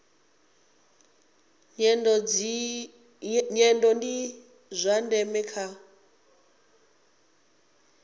nyendo ndi zwa ndeme kha